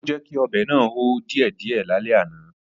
Ó jẹ́kí ọbẹ̀ náà hó díẹ̀ díẹ̀ lálẹ́ àná